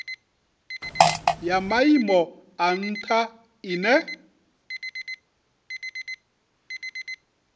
ya maimo a ntha ine